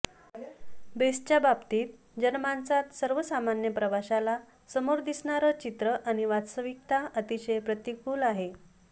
बेस्टच्या बाबतीत जनमाणसात सर्वसामान्य प्रवाशाला समोर दिसणार चित्र आणि वास्तविकता अतिशय प्रतिकूल आहे